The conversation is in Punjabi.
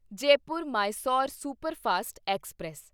Jaipur Mysore superfast express